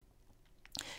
DR2